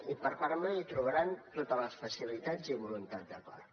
i per part meva hi trobaran totes les facilitats i voluntat d’acord